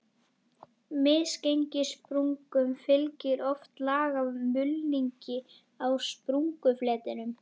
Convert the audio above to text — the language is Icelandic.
Misgengissprungum fylgir oft lag af mulningi á sprungufletinum.